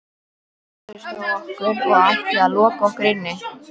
Þið réðust á okkur og ætluðuð að loka okkur inni.